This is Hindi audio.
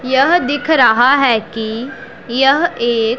यह दिख रहा है की यह एक--